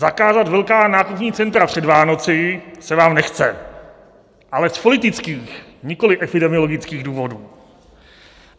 Zakázat velká nákupní centra před Vánocemi se vám nechce, ale z politických, nikoliv epidemiologických důvodů.